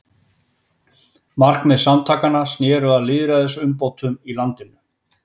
Markmið samtakanna sneru að lýðræðisumbótum í landinu.